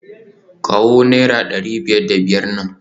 Kawo naira dari biyar da biyar nan